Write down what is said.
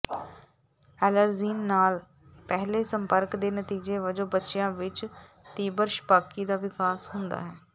allergen ਨਾਲ ਪਹਿਲੇ ਸੰਪਰਕ ਦੇ ਨਤੀਜੇ ਵਜੋਂ ਬੱਚਿਆਂ ਵਿੱਚ ਤੀਬਰ ਛਪਾਕੀ ਦਾ ਵਿਕਾਸ ਹੁੰਦਾ ਹੈ